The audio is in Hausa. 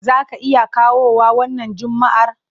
Za ka iya kawowa wannan Juma'ar?